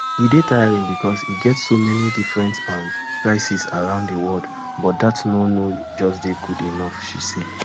e dey tiring becos e get so many different um crises around di world but dat no no just dey good enough she say